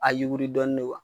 A yiwiri dɔɔni de wa?